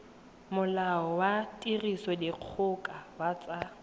molao wa tirisodikgoka wa tsa